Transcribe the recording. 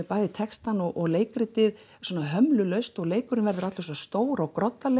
bæði textann og leikritið svona hömlulaust og leikurinn verður allur stór og